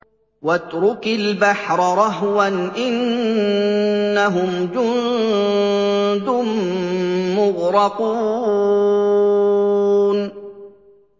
وَاتْرُكِ الْبَحْرَ رَهْوًا ۖ إِنَّهُمْ جُندٌ مُّغْرَقُونَ